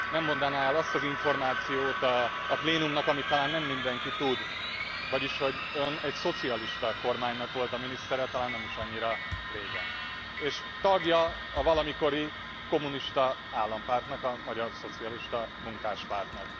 Nem mondaná e el azt az információt a plénumnak, amit talán nem mindenki tud, vagyis, hogy egy szocialista kormánynak volt a minisztere talán nem is annyira régen, és tagja volt a valamikori kommunista állampártnak, a Magyar Szocialista Munkáspártnak.